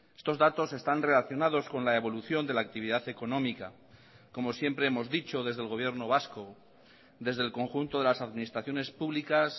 estos datos están relacionados con la evolución de la actividad económica como siempre hemos dicho desde el gobierno vasco desde el conjunto de las administraciones públicas